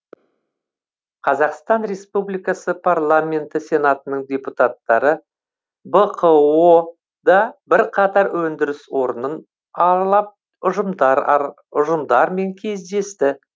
қазақстан республикасы парламенті сенатының депутаттары бқо да бірқатар өндіріс орнын аралап ұжымдармен кездесті